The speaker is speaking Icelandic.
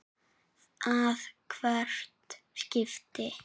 að hvert skipti.